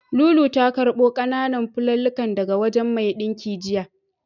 Lulu ta karɓo ƙananan fulallikan daga wajen mai ɗinkin jiya.